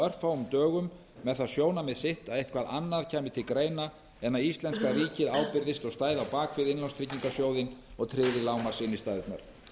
örfáum dögum með það sjónarmið sitt að eitthvað annað kæmi til greina en að íslenska ríkið ábyrgðist og stæði á bak við innlánstryggingarsjóðinn og tryggði lágmarksinnstæðurnar